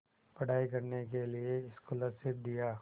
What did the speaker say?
पढ़ाई करने के लिए स्कॉलरशिप दिया